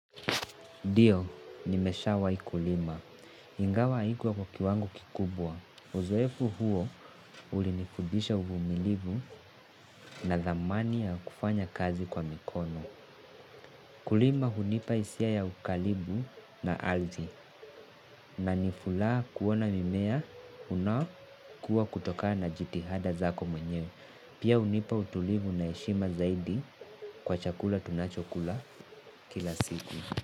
Ndio, nimeshawai kulima. Ingawa haikuwa kwa kiwango kubwa. Uzoefu huo ulinifudisha uvumilivu na thamani ya kufanya kazi kwa mikono. Kulima hunipa hisia ya ukaribu na ardhi. Na niraaa kuona mimea unakua kutoka na jitihada zako mwenye. Pia hunipa utulivu na heshima zaidi kwa chakula tunachokula kila siku.